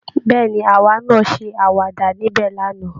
Bẹ́ẹ̀ ni, àwa náa ṣe àwàdà níbẹ̀ lánàá